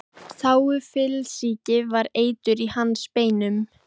Þágufallssýki var eitur í hans beinum.